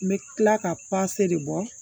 N bɛ tila ka de bɔ